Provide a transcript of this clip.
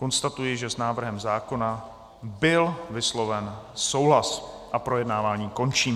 Konstatuji, že s návrhem zákona byl vysloven souhlas, a projednávání končím.